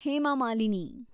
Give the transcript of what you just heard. Hema Malini